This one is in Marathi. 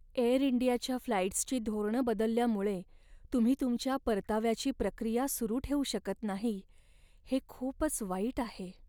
एअरइंडियाच्या फ्लाइट्सची धोरणं बदलल्यामुळे तुम्ही तुमच्या परताव्याची प्रक्रिया सुरु ठेवू शकत नाही, हे खूपच वाईट आहे.